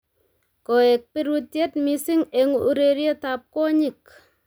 Koek birutiet missing eng urerietab kwonyik